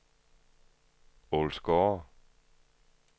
Ålsgårde